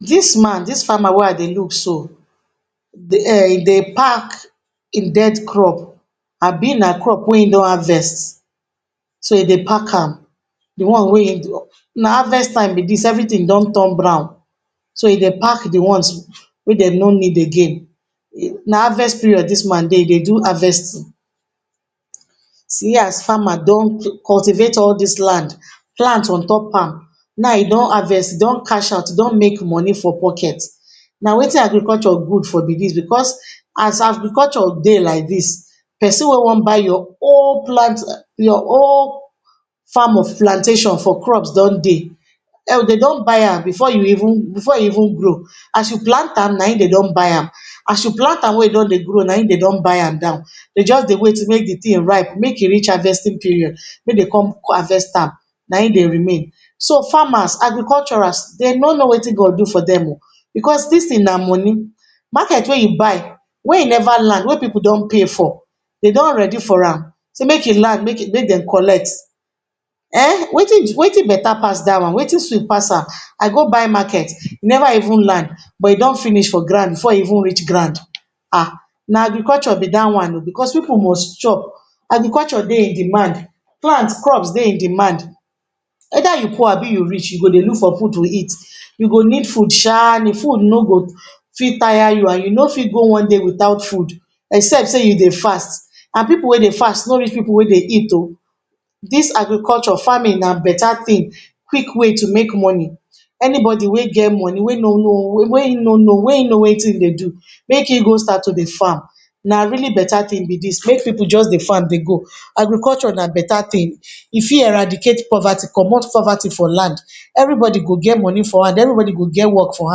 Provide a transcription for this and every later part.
Dis man dis farmer wey I look so e dey pack em death crop abi na crop wey him don harvest so em de pack am.na harvest time be dis everything don turn brown so he de pack de ones wey dem no need again na harvest period dis man dey e dey do harvesting. See as farmer don cultivate all dis land plant on top am now him don harvest e don cash out e don make money for pocket na watin agriculture good for be dis because as agriculture dey like dis person wey want buy your whole farm of plantation for crops don dey and dem don buy am before e even grow as you plant am na e dem don buy am as you plant am when e don dey grow na e dem even buy am down them just dey wait make de thing ripe make e reach harvesting period make dem come harvest am na em de remain so farmers, agriculturers dem no know watin God do for them oooh because dis thing na money. market wey you buy when e never land wey pipu don pay for de don ready for am say make e land make dem collect ehhh watin better pass dat one watin sweet pass am I go buy market e never even land but e don finish for ground before e even reach ground ehhh na agriculture be dat one ooo because pipu must chop agriculture dey in demand plant, crops de in demand weather you poor abi you rich you go dey look for food to eat you go need food sha de food no go fit tire you and you no fit go one day without food except say you dey fast and pipu and pipu wey dey fast no reach pipu wey dey eat ooo dis Agriculture farming na better thing quick way to make money anybody wey get wey no know watin him dey do make e go start to farm na really better thing be dis make pipu just dey farm dey go agriculture na better thin e fit eradicate poverty comot poverty for land every body go get money for hand every body go get work for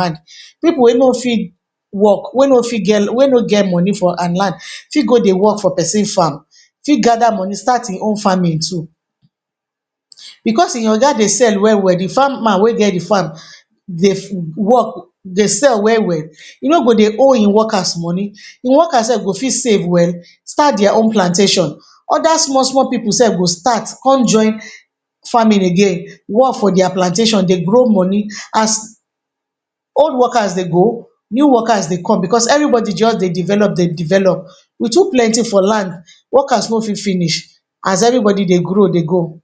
hand pipu wey no fit work wey no get money and land fit go dey work for person land where him fit gather money start him own farming too because e oga dey sell well well de farmer wey get de farm de sale well well e no go de owe him workers money him workers self go fit save well and start their own plantation other small small pipu self go start come join farming again work for their plantation dey grow money as old workers dey go, new workers dey come because every body just dey develop dey develop we too planty for land workers no fit finish as every body dey grow dey go.